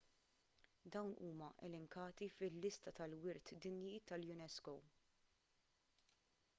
dawn huma elenkati fil-lista tal-wirt dinji tal-unesco